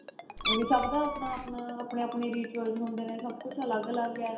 ਵੀ ਸਭ ਦਾ ਆਪਣਾ ਆਪਣਾ ਆਪਣੇ ਆਪਣੇ rituals ਹੁੰਦੇ ਨੇ ਸਭ ਕੁੱਝ ਅਲੱਗ ਅਲੱਗ ਏ